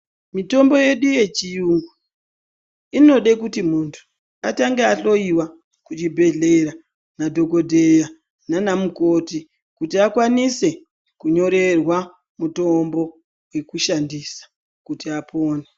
Mitombo yedu yechiyungu inode kuti muntu atange ahloyiwa kuchibhedhlera nadhokodheya naana mukoti kuti akwanise kunyorerwa mitombo yekushandisa kuti apone.